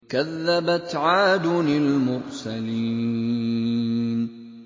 كَذَّبَتْ عَادٌ الْمُرْسَلِينَ